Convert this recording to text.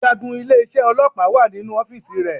Ọ̀gágun ilé isé ọlọ́pàá wà nínú ọ́fíìsì rẹ